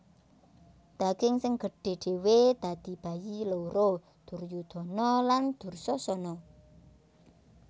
Daging sing gedhe dhewe dadi bayi loro Duryudana lan Dursasana